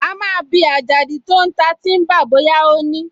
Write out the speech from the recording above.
A máa bi Àjàdí tó ń ta tíḿbà bóyá ó ní